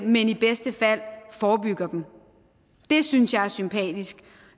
men i bedste fald forebygget dem det synes jeg er sympatisk og